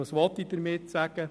Was will ich damit sagen?